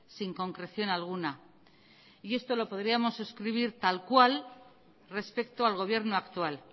sin concreción alguna y esto lo podríamos suscribir tal cual respecto al gobierno actual